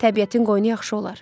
Təbiətin qoynu yaxşı olar.